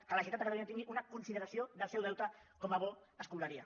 que la generalitat de catalunya tingui una consideració del seu deute com a bo escombraria